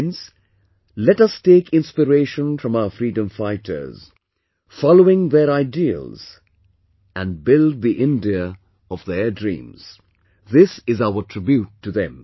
Friends, let us take inspiration from our freedom fighters, following their ideals and build the India of their dreams... this is our tribute to them